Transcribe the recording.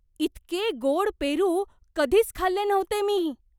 इतके गोड पेरू कधीच खाल्ले नव्हते मी!